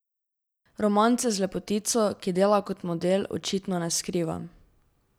Romance z lepotico, ki dela kot model, očitno ne skriva.